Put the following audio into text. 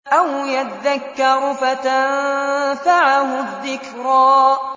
أَوْ يَذَّكَّرُ فَتَنفَعَهُ الذِّكْرَىٰ